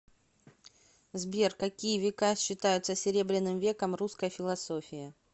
сбер какие века считаются серебряным веком русской философии